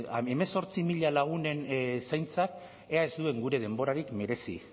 e hemezortzi mila lagunen zaintzak ea ez duen gure denborarik merezi